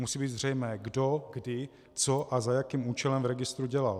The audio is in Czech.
Musí být zřejmé, kdo, kdy, co a za jakým účelem v registru dělal.